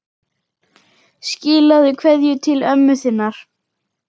Skilaðu kveðju til ömmu þinnar.